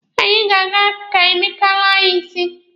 Anyị ga-aga ka Emeka laa anyị isi.